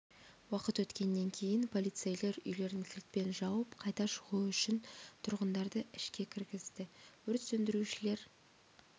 уақыт өткеннен кейін полицейлер үйлерін кілтпен жауып қайта шығуы үшін тұрғындарды ішке кіргізді өрт сөндірушілер